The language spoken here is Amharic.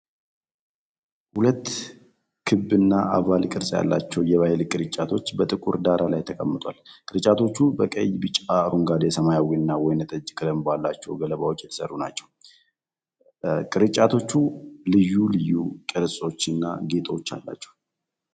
ሁለት ክብና ኦቫል ቅርጽ ያላቸው የባህል ቅርጫቶች በጥቁር ዳራ ላይ ተቀምጠዋል። ቅርጫቶቹ በቀይ፣ ቢጫ፣ አረንጓዴ፣ ሰማያዊና ወይንጠጅ ቀለም ባላቸው ገለባዎች የተሠሩ ናቸው። ቅርጫቶቹ ልዩ ልዩ ቅርጾችና ጌጦች አሏቸው።